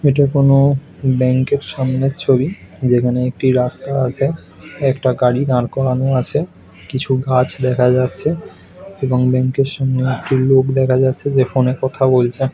এটা কোন ব্যাংকের সামনে ছবি। যেখানে একটি রাস্তা আছে একটা গাড়ি দাঁড় করানো আছে। কিছু গাছ দেখা যাচ্ছে এবং ব্যাংকের সামনে একটি লোক দেখা যাচ্ছে যে ফোন -এ কথা বলছে।